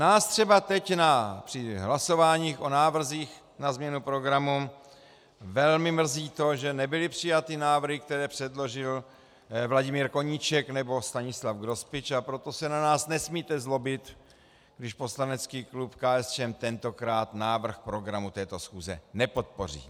Nás třeba teď při hlasováních o návrzích na změnu programu velmi mrzí to, že nebyly přijaty návrhy, které předložil Vladimír Koníček nebo Stanislav Grospič, a proto se na nás nesmíte zlobit, když poslanecký klub KSČM tentokrát návrh programu této schůze nepodpoří.